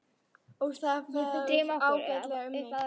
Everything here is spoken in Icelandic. Og það fer ágætlega um mig.